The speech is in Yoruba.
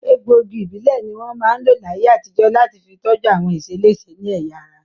Egbòogi ìbílẹ̀ ní wọ́n máa ń lò láyé àtijọ́ láti fi tọ́jú àwọn ìṣeléṣe ní ẹ̀yà ara